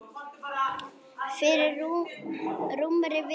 Fyrir rúmri viku.